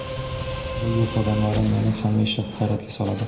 Bu yurt odamlari meni hamisha hayratga soladi.